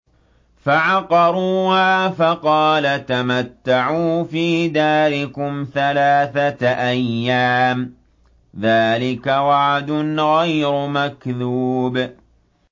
فَعَقَرُوهَا فَقَالَ تَمَتَّعُوا فِي دَارِكُمْ ثَلَاثَةَ أَيَّامٍ ۖ ذَٰلِكَ وَعْدٌ غَيْرُ مَكْذُوبٍ